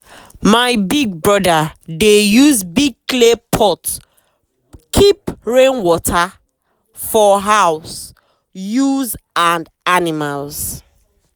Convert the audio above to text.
my big brother dey use big clay pot keep rain water for house use and animals.